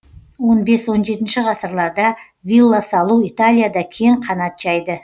он бес он жетінші ғасырларда вилла салу италияда кең қанат жайды